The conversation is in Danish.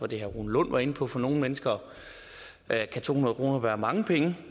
det herre rune lund var inde på for nogle mennesker kan to hundrede kroner være mange penge